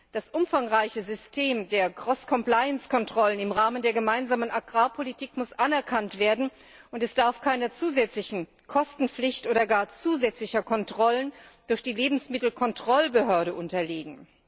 Das umfangreiche System der Cross Compliance Kontrollen im Rahmen der Gemeinsamen Agrarpolitik muss anerkannt werden und darf keiner zusätzlichen Kostenpflicht oder gar zusätzlichen Kontrollen durch die Lebensmittelkontrollbehörde unterliegen.